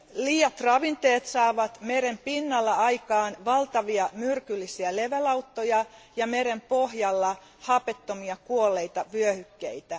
Liiat ravinteet saavat meren pinnalla aikaan valtavia myrkyllisiä levälauttoja ja meren pohjalla hapettomia kuolleita vyöhykkeitä.